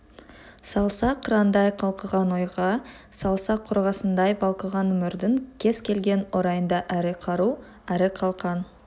салса қырандай қалқыған ойға салса қорғасындай балқыған өмірдің кез келген орайында әрі қару әрі қалқан